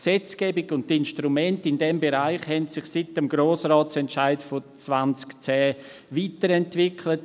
Die Gesetzgebung und die Instrumente in diesem Bereich haben sich seit dem Grossratsentscheid von 2010 weiterentwickelt.